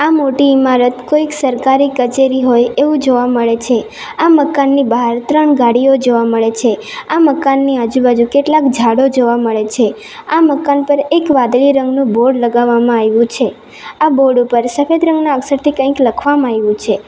આ મોટી ઈમારત કોઈક સરકારી કચેરી હોય એવું જોવા મળે છે આ મકાનની બહાર ત્રણ ગાડીઓ જોવા મળે છે આ મકાનની આજુબાજુ કેટલાક જાડો જોવા મળે છે આ મકાન પર એક વાદળી રંગનું બોર્ડ લગાવવામાં આયવું છે આ બોર્ડ ઉપર સફેદ રંગના અક્ષરથી કંઈક લખવામાં આયવું છે.